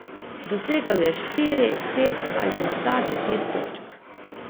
Dosegal je štiri, pet ali morda deset točk.